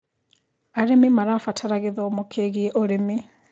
Arĩmĩ marabatara gĩthomo kĩĩgĩe ũrĩmĩ